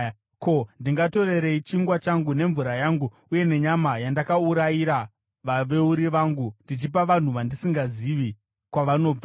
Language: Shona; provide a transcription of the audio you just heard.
Ko, ndingatorerei chingwa changu nemvura yangu uye nenyama yandakaurayira vaveuri vangu, ndichipa vanhu vandisingazivi kwavanobva?”